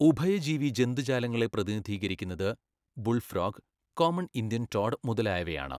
ഉഭയജീവി ജന്തുജാലങ്ങളെ പ്രതിനിധീകരിക്കുന്നത് bullfrog, common Indian toad മുതലായവയാണ്.